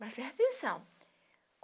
Mas presta atenção.